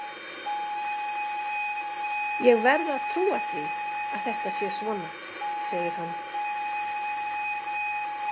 Ég verð að trúa því að þetta sé svona, segir hann.